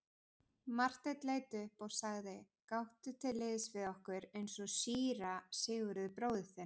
Marteinn leit upp og sagði:-Gakktu til liðs við okkur eins og síra Sigurður bróðir þinn.